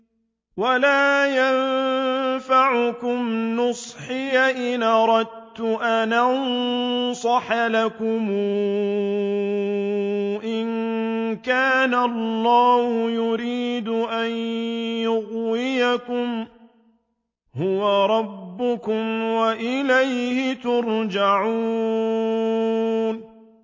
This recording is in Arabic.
وَلَا يَنفَعُكُمْ نُصْحِي إِنْ أَرَدتُّ أَنْ أَنصَحَ لَكُمْ إِن كَانَ اللَّهُ يُرِيدُ أَن يُغْوِيَكُمْ ۚ هُوَ رَبُّكُمْ وَإِلَيْهِ تُرْجَعُونَ